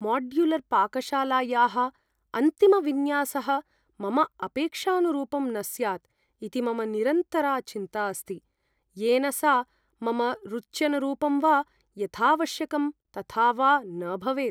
माड्युलर्पाकशालायाः अन्तिमविन्यासः मम अपेक्षानुरूपं न स्यात् इति मम निरन्तरा चिन्ता अस्ति, येन सा मम रुच्यनुरूपं वा यथावश्यकं तथा वा न भवेत्।